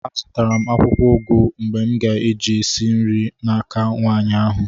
Azụtara m akwụkwọ ụgụ m ga-eji esi nri n'aka nwaanyị ahụ